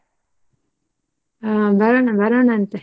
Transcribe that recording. ಆ ಬರೋಣ ಬರೋಣ ಅಂತೆ.